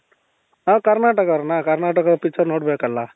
ನಾವು ಕರ್ನಾಟಕ ಅವ್ರ್ ಅಣ್ಣ ಕರ್ನಾಟಕ picture ನೋಡಬೇಕಲ್ಲಾ